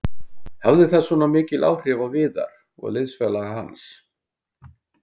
Hafði það svona mikil áhrif á Viðar og liðsfélaga hans?